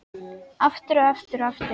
Aftur, og aftur, og aftur.